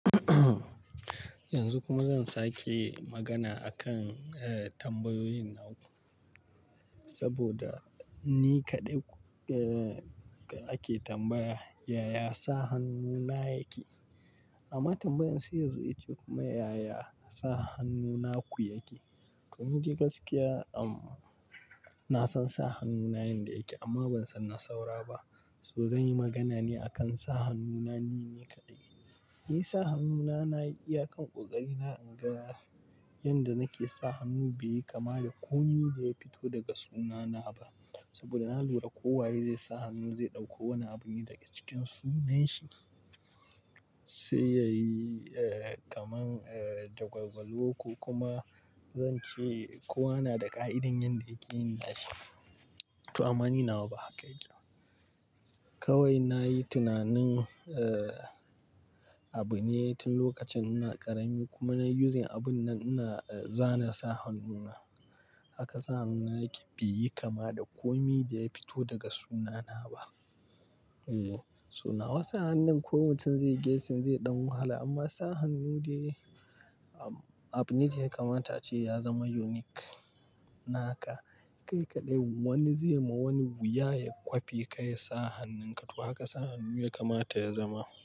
Yanzu kuma zan sake magana a kan, eh, tambayoyin naku. Saboda ni kaɗai, eh, ake tambaya, "yaya sa hannuna yake?" Amma tambayan sai yazo ita kuma yaya sa hannuna ku yake? To ni gaskiya, um, na san sa hannuna yanda yake amma ban san na sauraba. To zan yi magana ne a kan sa hannuna nini kaɗai. Ni sa hannuna na iya kan ƙoƙari na inga yanda nake sa hannu bai yi kama da komi ada ya fito daga sunana ba. Saboda na lura kowa zai sa hannu zai ɗauko wani abun ne daga cikin sunanshi. Sai yayi, eh, kamar, eh, jagwalgwalo ko kuma zan ce kowa na da ƙa'idar yanda yake yin na shi. To amma ni nawa ba haka yake ba. Kawai nayi tunanin, eh, abune tun lokacin ina ƙarami kuma nayi uzing abun nan ina, eh, zana sa hannuna. Haka sa hannuna yake bai yi kama da komi da ya fito daga sunana ba. Yanda nake sa hannu bai yi kama da komi da ya fito daga sunana ba. Kai kaɗai wani zai ma wani wuya ya kwafi kayi sa hannunka. To haka sa hannu ya kamata ya zama.